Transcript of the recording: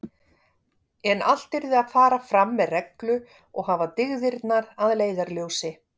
En allt yrði að fara fram með reglu og hafa dygðirnar að leiðarljósi.